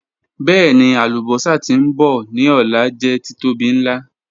Bẹẹni, alubosa ti nbọ ni ọla jẹ titobi nla.